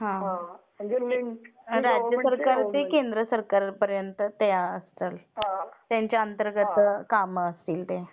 राज्य सरकार ते केंद्र सरकारपर्यंत ते असाल. त्यांच्या अंतर्गत काम असतील ते.